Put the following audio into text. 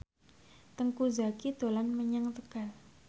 Teuku Zacky dolan menyang Tegal